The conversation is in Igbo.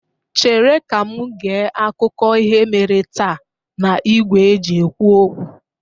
Chere ka m gee akụkọ ihe mere taa n'igwe e ji ekwu okwu!